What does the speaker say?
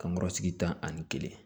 Kankɔrɔ sigi tan ani kelen